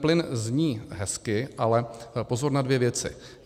Plyn zní hezky, ale pozor na dvě věci.